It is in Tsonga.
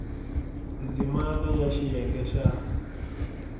ndzimana b ya xiyenge xa